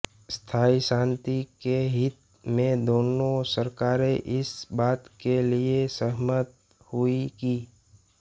स्थाई शान्ति के हित में दोनों सरकारें इस बात के लिए सहमत हुई कि